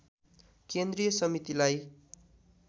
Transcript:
केन्द्रीय समितिलाई